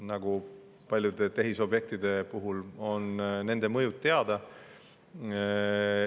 Nagu paljude tehisobjektide puhul, on nende mõju teada.